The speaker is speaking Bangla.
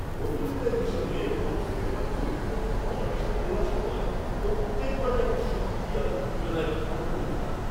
অভিনেতা হিসেবে কোনও সিনেমার চরিত্রের জন্য অডিশন দেওয়ার সময় প্রত্যেকবারই আমি শক্তি আর উত্তেজনায় ভরপুর থাকি।